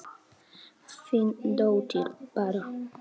Þín dóttir, Bára.